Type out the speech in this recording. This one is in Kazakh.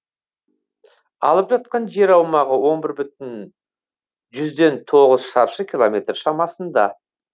алып жатқан жер аумағы он бір бүтін жүзден тоғыз шаршы километр шамасында